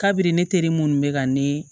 Kabini ne teri munnu be ka ne